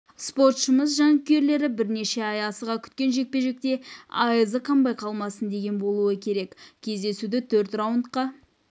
спортшымыз жанкүйерлері бірнеше ай асыға күткен жекпе-жекте айызы қанбай қалмасын деген болуы керек кездесуді төрт раундқа